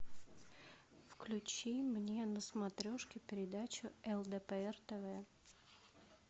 включи мне на смотрешке передачу лдпр тв